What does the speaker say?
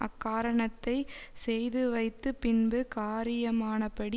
அக்காரணத்தைச் செய்துவைத்துப் பின்பு காரியமானபடி